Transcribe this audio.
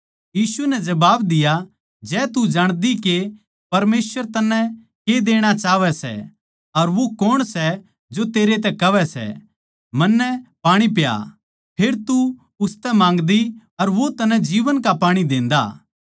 यीशु नै जबाब दिया जै तू जाणदी के परमेसवर तन्नै के देणा चाहवै सै अर न्यू न्ही जाणदी के वो कौण सै जो तेरै तै कहवै सै मन्नै पाणी पिया फेर तू उसतै माँगदी अर वो तन्नै जीवन का पाणी देन्दा